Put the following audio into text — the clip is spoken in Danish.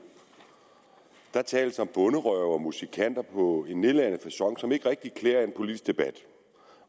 der tales om bonderøve og musikanter på en nedladende facon som ikke rigtig klæder en politisk debat